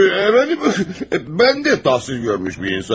Əfəndim, mən də təhsil görmüş bir insanım.